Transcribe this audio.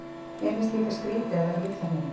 Mér finnst líka skrýtið að vera á Litla-Hrauni.